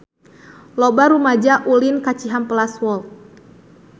Loba rumaja ulin ka Cihampelas Walk